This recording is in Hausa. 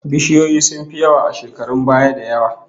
Bishiyoyi sun fi yawa a shekarun baya da yawa